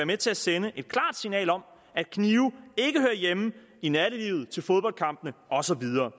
med til at sende et klart signal om at knive ikke hører hjemme i nattelivet til fodboldkampene og så videre